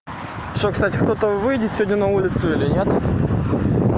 ну что кстати кто-то выйдет сегодня на улицу или нет